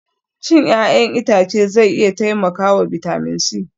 Cin 'ya'yan itace zai iya taimakawa bitamin C